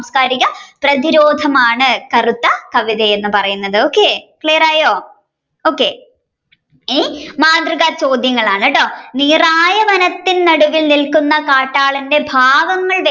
പ്രതിരോധമാണ് കറുത്ത കവിത എന്ന് പറയുന്നത് okay clear ആയോ okay ഇനി ഇനി മാതൃക ചോദ്യങ്ങളാണ് കേട്ടോ നീറായ വനത്തിൽ നിൽക്കുന്ന കാട്ടാളന്റെ ഭാവങ്ങൾ വ്യക്തമാക്കുന്ന